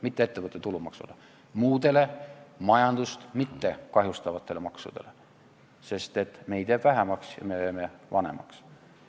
Mitte ettevõtte tulumaksule, vaid muudele majandust mittekahjustavatele maksudele, sest meid jääb vähemaks ja me jääme vanemaks.